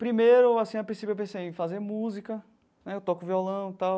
Primeiro assim, a princípio, eu pensei em fazer música né, eu toco violão e tal,